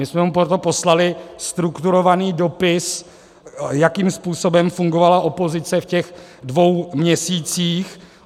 My jsme mu proto poslali strukturovaný dopis, jakým způsobem fungovala opozice v těch dvou měsících.